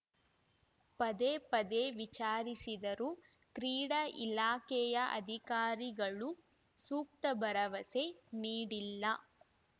ಪದೇ ಪದೇ ವಿಚಾರಿಸಿದರೂ ಕ್ರೀಡಾ ಇಲಾಖೆಯ ಅಧಿಕಾರಿಗಳು ಸೂಕ್ತ ಭರವಸೆ ನೀಡಿಲ್ಲ